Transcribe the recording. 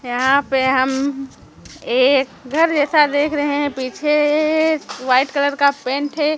यहाँ पे हम एक घर जैसा देख रहे हैं पीछे ए वाइट कलर का पेंट है।